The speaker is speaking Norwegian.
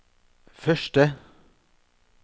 første